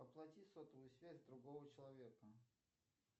оплати сотовую связь другого человека